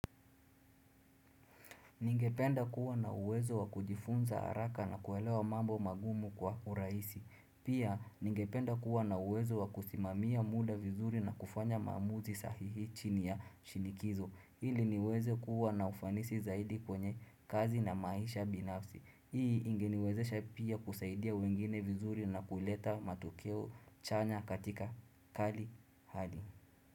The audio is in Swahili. Ningependa kuwa na uwezo wakujifunza haraka na kuelewa mambo magumu kwa urahisi. Pia ningependa kuwa na uwezo wakusimamia muda vizuri na kufanya mamuzi sahihi chini ya shinikizo ili niweze kuwa na ufanisi zaidi kwenye kazi na maisha binafsi. Hii ingeniwezesha pia kusaidia wengine vizuri na kuleta matokeo chanya katika kali hali.